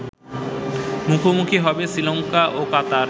মুখোমুখি হবে শ্রীলঙ্কা ও কাতার